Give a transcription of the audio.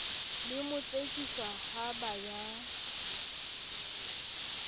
le motsekiswa ha ba ya